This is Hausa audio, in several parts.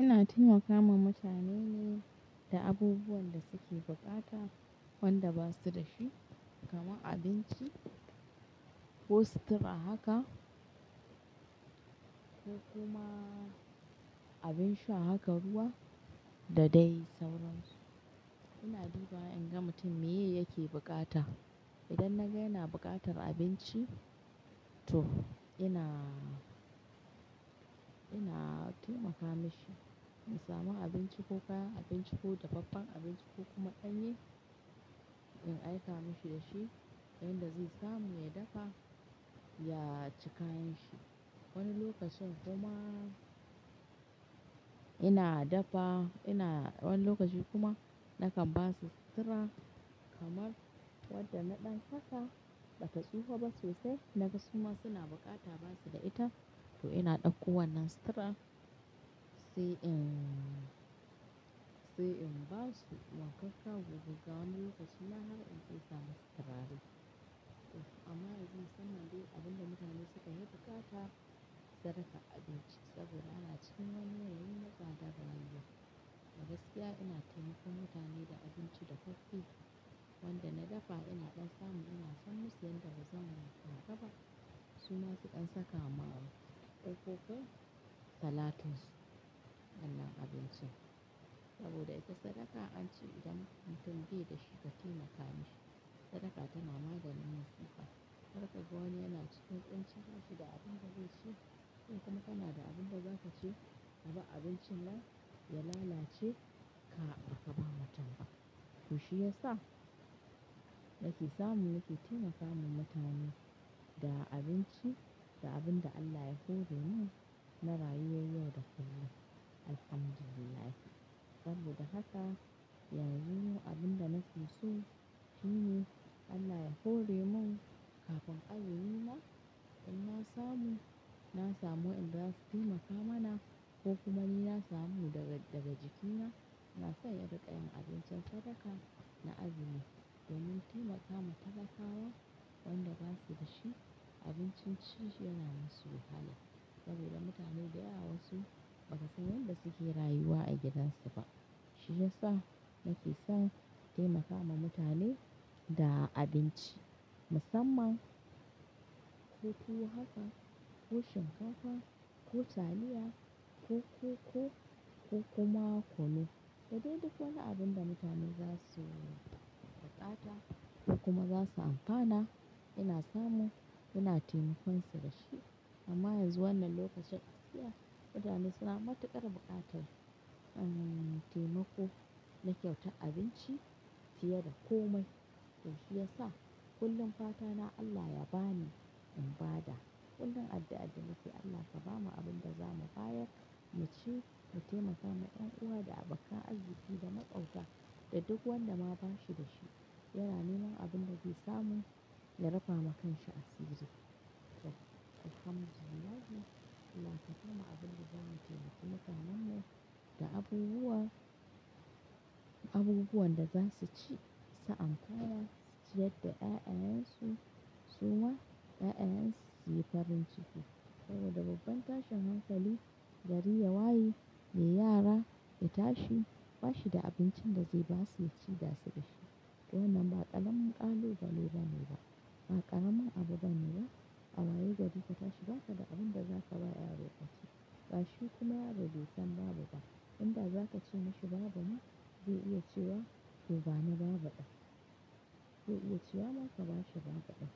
Ina taimakawa mutane ne da abubuwan da suke bukata wanda basuda shi kamar abinci ko sutura haka ko kuma abinsha haka ruwa da dai sauransu. Ina duba inga mutum meye yake bukata. Idan naga yana buƙatar abinci to ina, ina taimaka mashi in samu abinci ko kaya, abinci ko dafaffen abinci ko kuma ɗanye in aika mashi dashi yanda zai samu ya dafa ya ci kayan shi. Wani lokacin kuma ina dafa ina wani lokaci kuma nakan ba su sutura kamar wadda na ɗan saka bata tsufa ba sosai. Naga suma suna bukata basuda ita to ina ɗauko wannan sutura sai in, sai in basu. Wankakka gogagga wani lokaci ma har in fesa masu turare. To amma yanzu musamman dai abinda mutane suka yi bukata sadaka abinci saboda ana cikin wani yanayin na tsadar rayuwa. Abgaskiya ina taimakon mutane da abinci dafaffe wanda na dafa ina ɗan samu ina sanma su yanda bazan iya kara ba suma su ɗan saka ma wa ƙoƙoƙo salatus sallah abinci. Saboda ita sadaka an ce idan mutum baida shi ka taimaka mishi sadaka tana maganin musuƙa. Har kaga wani yana cikin kunci bashida abinda zaici. Kai kuma kana da abinda zakaci, kabar abincin nan ya lalace ka barka ba mutum ba. To shiyasa nake samu nake taimaka ma mutane da abinci da abinda Allah ya hore mun na rayuwar yau da kullum. Alhamdulillah. Saboda haka yanzu abinda nafiso shine Allah ya hore mun kafin azumi ma in na samu, na samu wadanda zasu taimaka mana ko kuma ni na samu daga, daga jikina inaso in ringa yan abincin sadaka na azumi domin taimaka ma talakawa wanda basuda shi abinci shi yana masu wahala. Saboda mutane dayawa wasu baka san yanda suke rayuwa a gidansu ba. Shiyasa nake son taimakawa mutane da abinci musamman ko tuwo haka ko shinkafa ko taliya ko koko ko kuma kunu. Da duk wani abinda mutane zasu buƙata ko kuma zasu amfana ina samu ina taimkonsu dashi. Amma yanzu wannan lokacin gaskiya mutane suna matuƙar buƙatar, um, taimako na kyautar abinci fiye da komai. To shiyasa kullum fatana Allah ya bani in ba da. Kullum addu'ar da nake Allah ka ba mu abin daza mu bayar mu ci mu taimaka ma yan uwa da abokan arziki da maƙotar da duk wanda bashida shi. Yana neman abinda zai samu ya rufa ma kanshi asiri. To Alhamdulillah Allah kabamu abinda za mu taimaka mutanen mu da abubuwa, abubuwan daza suci su amfana su ciyar da 'ya'yan su su ma 'ya'yan su su yi farin ciki. Saboda babban tashin hankali gari yawaye mai yara ya tashi bashida abincinda zai basu yaci dasu dashi. To wannan ba ƙaramin ƙalu bale bane ba. Ba ƙaramin abu bane ba. A waye gari ka tashi bakada abinda zakaba yaro yaci. Gashi kuma yaro baisan babu ba. Inda zakace masa babuma zai iya cewa to bani babu ɗan. Zai iya cewa ma ka ba shi babu ɗan.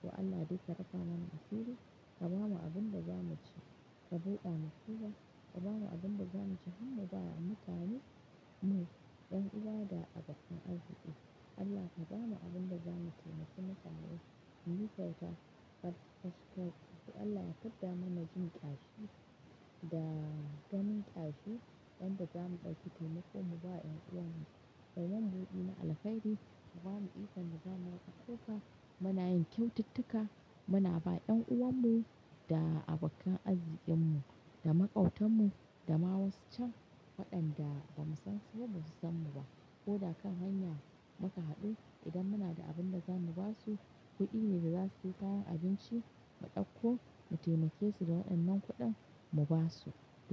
To Allah dai ka rufa mana asiri ka ba mu abinda zamu ci. Ka buɗa mu kuwa kabamu abinda zamu ci har mubawa mutanenmu dan'uwa da abokin arziki. Allah kabamu abinda zamu taimaki mutane muyi kyauta. Allah ya fidda mana jin ƙashi da ganin ƙashi yadda zamu ɗauki taimako mu ba yan uwanmu. Kayi mana budi na alheri kabamu ikon mu zama maƙwabta. Muna yin kyaututtuka muna ba yan uwanmu da abokan arzikinmu da maƙautarmu da ma wasu can waɗan da ba mu san su ba ba su san mu ba. Ko da kan hanya muka haɗu idan muna da abinda zamu basu kuɗi ne daza su sayi kayan abinci mu ɗauko mu taimake su da wannan kuɗin mu basu.